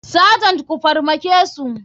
Sergent ku farmakesu.